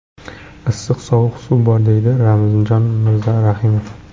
Issiq-sovuq suv bor” deydi Ramzjon Mirzarahimov.